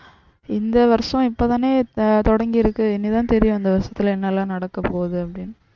இந்த வருஷம் இப்பதான தொடங்கியிருக்கு இனிதான் தெரியும் இந்த வருஷத்துல என்னெல்லாம் நடக்கப்போகுது அப்டினு.